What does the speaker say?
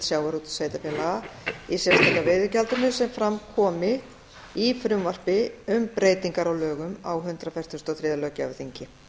sjávarútvegssveitarfélaga í sérstaka veiðigjalda sem fram komi í frumvarpi um breytingar á lögum á hundrað fertugasta og þriðja löggjafarþingi